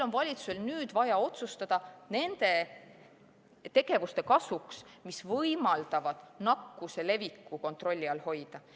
Valitsusel on nüüd vaja otsustada nende tegevuste kasuks, mis võimaldavad nakkuse leviku kontrolli all hoida.